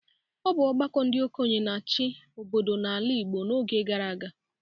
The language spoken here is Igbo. Ọ bụ ọgbakọ ndị okenye na-achị obodo n'ala Igbo n’oge gara aga.